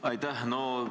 Aitäh!